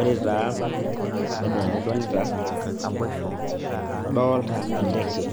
Ore taa enaa enidolita, adolta enteke.